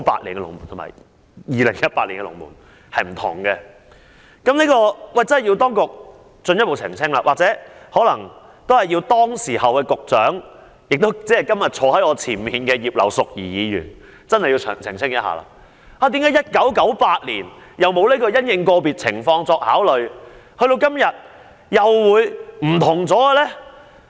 當局真的有需要進一步澄清，或請當時的局長——即今天坐在我前面的葉劉淑儀議員——澄清，為何1998年沒有"因應個別情況作出考慮"這一句。